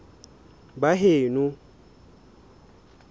baheno